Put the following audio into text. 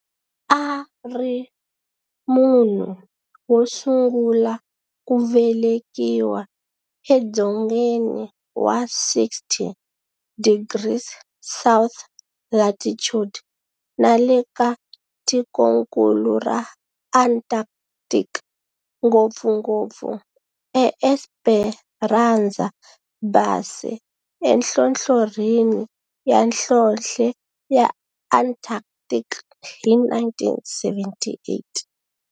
A ri munhu wosungula ku velekiwa e dzongeni wa 60 degrees south latitude nale ka tikonkulu ra Antarctic, ngopfungopfu e Esperanza Base enhlohlorhini ya nhlonhle ya Antarctic hi 1978.